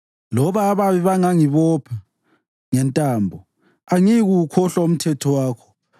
Loba ababi bengangibopha ngentambo, angiyikuwukhohlwa umthetho wakho.